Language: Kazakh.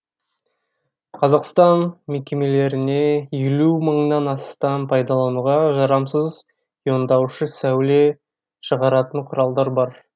қазақстан мекемелеріне елу мыңнан астам пайдалануға жарамсыз иондаушы сәуле шығаратын құралдар бар